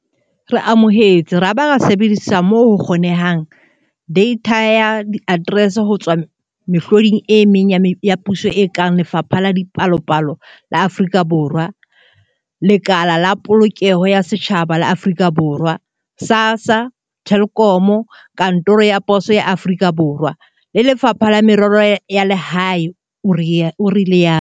"Re amohetse ra ba ra sebedisa, moo ho kgonehang, deitha ya diaterese ho tswa mehloding e meng ya puso e kang Lefapha la Dipalopalo la Aforika Borwa, StatsSA, Lekala la Polokeho ya Setjhaba la Aforika Borwa, SASSA, Telkom, Kantoro ya Poso ya Aforika Borwa, SAPO, le Lefapha la Merero ya Lehae," o ile a rialo.